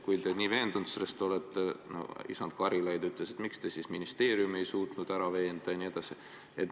Kui te nii veendunud selles olete, nagu isand Karilaid ütles, miks te siis ministeeriumi ei suutnud ära veenda?